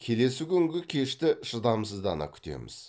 келесі күнгі кешті шыдамсыздана күтеміз